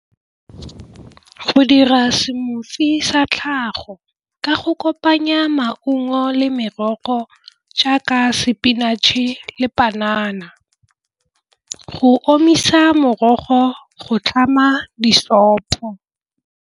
Go dira smoothie sa tlhago ka go kopanya maungo le merogo jaaka spinach-e le panana go omisa morogo go tlhama di .